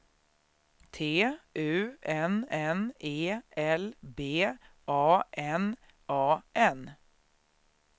T U N N E L B A N A N